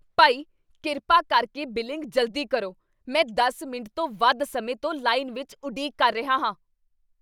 ਭਾਈ, ਕਿਰਪਾ ਕਰਕੇ ਬਿਲਿੰਗ ਜਲਦੀ ਕਰੋ! ਮੈਂ ਦਸ ਮਿੰਟ ਤੋਂ ਵੱਧ ਸਮੇਂ ਤੋਂ ਲਾਈਨ ਵਿੱਚ ਉਡੀਕ ਕਰ ਰਿਹਾ ਹਾਂ